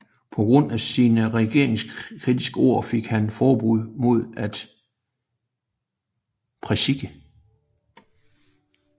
På grund af sine regeringskritiske ord fik han forbud mod at præsike